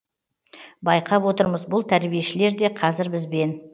байқап отырмыз бұл тәрбиешілер де қазір бізбен